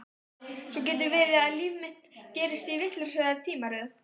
Svo getur verið að líf mitt gerist í vitlausri tímaröð.